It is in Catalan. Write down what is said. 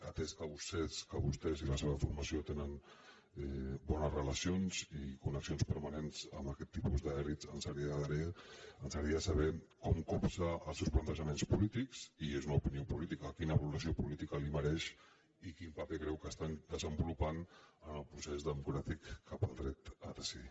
atès que vostès i la seva formació tenen bones relacions i connexions permanents amb aquest tipus d’elits ens agradaria saber com copsa els seus plantejaments polítics i és una opinió política quina valoració política li mereixen i quin paper creu que estan desenvolupant en el procés democràtic cap al dret a decidir